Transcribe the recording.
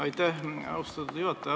Aitäh, austatud juhataja!